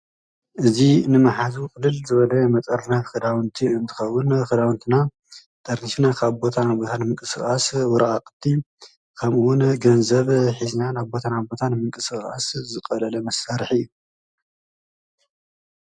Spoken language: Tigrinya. እዙ ንመሓዙ ቅልል ዝበለ መጠርነፍ ኽዳውንቲ እንትኸዉን ኽዳዉንትና ጠርኒፍና ካብ ቦታ ናብ ቦታ ንምንቅስቃስ፣ ወረቃቕቲ ከም እውን ገንዘብ ሒዝናን ካብ ቦታ ናብ ቦታ ንምንቅስቃስ ዘገልግል መሳርሒ እዩ።